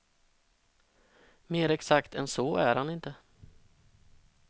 Mer exakt än så är han inte.